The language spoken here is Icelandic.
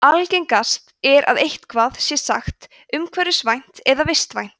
algengast er að eitthvað sé sagt umhverfisvænt eða vistvænt